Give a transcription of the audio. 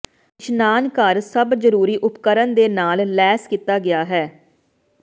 ਇਸ਼ਨਾਨਘਰ ਸਭ ਜਰੂਰੀ ਉਪਕਰਣ ਦੇ ਨਾਲ ਲੈਸ ਕੀਤਾ ਗਿਆ ਹੈ